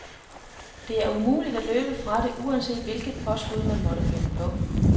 Det er umuligt at løbe fra det, uanset hvilket påskud man måtte finde på.